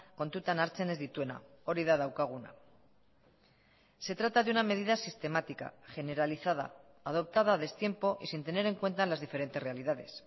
kontutan hartzen ez dituena hori da daukaguna se trata de una medida sistemática generalizada adoptada a destiempo y sin tener en cuenta las diferentes realidades